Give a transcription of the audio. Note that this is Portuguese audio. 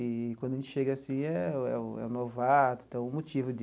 E quando a gente chega, assim, é o é o é o novato, então é o motivo de...